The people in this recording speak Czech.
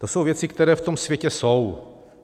To jsou věci, které v tom světě jsou.